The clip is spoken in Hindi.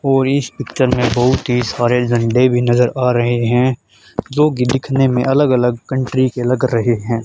और इस पिक्चर में बहुत ही सारे झंडे भी नजर आ रहे हैं जो की दिखने में अलग अलग कंट्री के लग रहे हैं।